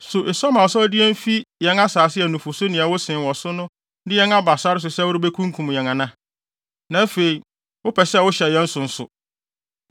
So esua ma wo sɛ wode yɛn fi yɛn asase a nufusu ne ɛwo sen wɔ so no so de yɛn aba sare so sɛ worebekum yɛn ana? Na afei, wopɛ sɛ wohyɛ yɛn so nso!